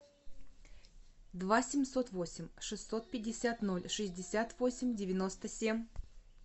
два семьсот восемь шестьсот пятьдесят ноль шестьдесят восемь девяносто семь